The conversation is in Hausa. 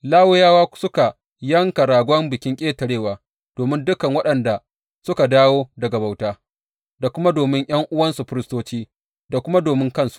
Lawiyawa suka yanka ragon Bikin Ƙetarewa domin dukan waɗanda suka dawo daga bauta, da kuma domin ’yan’uwansu firistoci, da kuma domin kansu.